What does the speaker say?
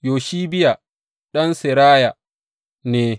Yoshibiya ɗan Seraya ne.